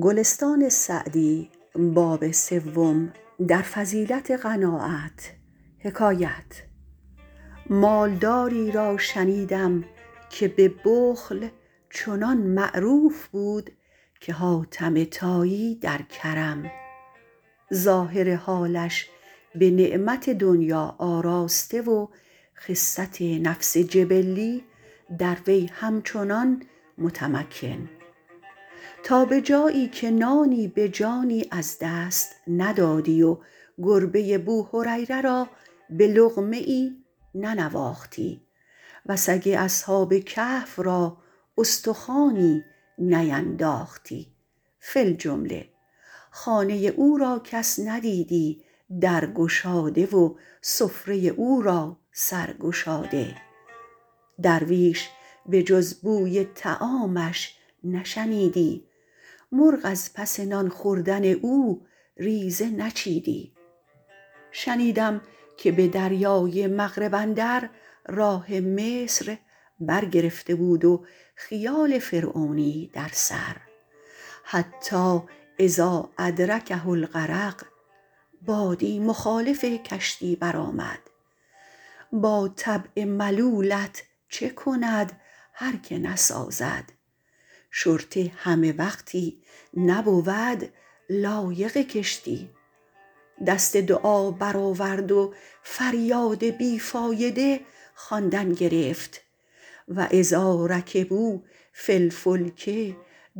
مال داری را شنیدم که به بخل چنان معروف بود که حاتم طایی در کرم ظاهر حالش به نعمت دنیا آراسته و خست نفس جبلی در وی همچنان متمکن تا به جایی که نانی به جانی از دست ندادی و گربه بوهریره را به لقمه ای ننواختی و سگ اصحاب الکهف را استخوانی نینداختی فی الجمله خانه او را کس ندیدی در گشاده و سفره او را سر گشاده درویش به جز بوی طعامش نشنیدی مرغ از پس نان خوردن او ریزه نچیدی شنیدم که به دریای مغرب اندر راه مصر بر گرفته بود و خیال فرعونی در سر حتیٰ اذا ادرکه الغرق بادی مخالف کشتی برآمد با طبع ملولت چه کند هر که نسازد شرطه همه وقتی نبود لایق کشتی دست دعا برآورد و فریاد بی فایده خواندن گرفت و اذا رکبوا فی الفلک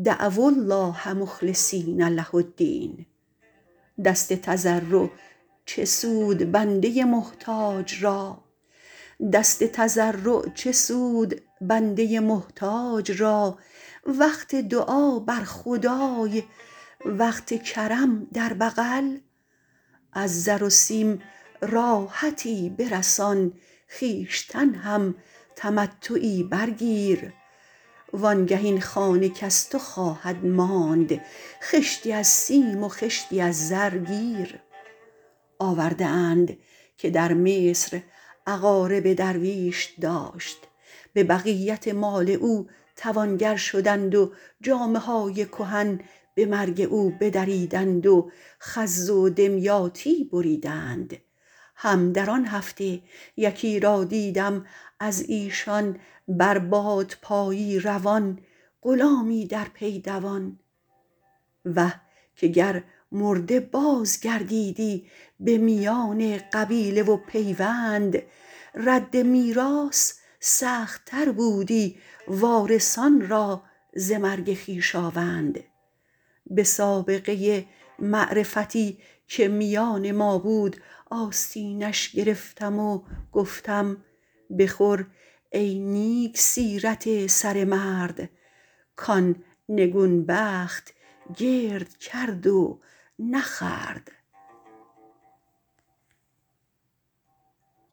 دعو الله مخلصین له الدین دست تضرع چه سود بنده محتاج را وقت دعا بر خدای وقت کرم در بغل از زر و سیم راحتی برسان خویشتن هم تمتعی بر گیر وآن گه این خانه کز تو خواهد ماند خشتی از سیم و خشتی از زر گیر آورده اند که در مصر اقارب درویش داشت به بقیت مال او توانگر شدند و جامه های کهن به مرگ او بدریدند و خز و دمیاطی بریدند هم در آن هفته یکی را دیدم از ایشان بر بادپایی روان غلامی در پی دوان وه که گر مرده باز گردیدی به میان قبیله و پیوند رد میراث سخت تر بودی وارثان را ز مرگ خویشاوند به سابقه معرفتی که میان ما بود آستینش گرفتم و گفتم بخور ای نیک سیرت سره مرد کان نگون بخت گرد کرد و نخورد